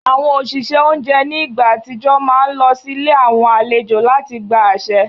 Àwọn òṣìṣẹ́ oúnjẹ ní ìgbà àtijọ́ máa ń lọ sílé àwọn àlejò láti gba àṣẹ